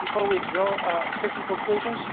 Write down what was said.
before we draw certain conclusions?